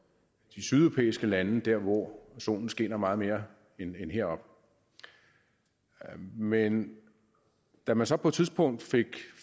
de sydeuropæiske lande der hvor solen skinner meget mere end heroppe men da man så på et tidspunkt